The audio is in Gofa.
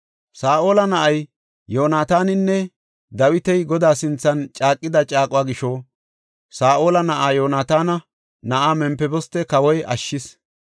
Saa7ola na7ay Yoonataaninne Dawiti Godaa sinthan caaqida caaquwa gisho, Saa7ola na7aa, Yoonataana na7aa Mempiboste kawoy ashshis.